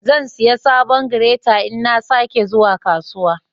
Zan siya sabon "greater" in na sa ke zuwa kasuwa.